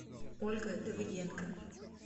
ольга давыденко